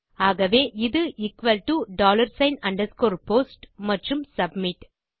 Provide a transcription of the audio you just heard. ஆகவே இது equal to dollar sign underscore post மற்றும் சப்மிட்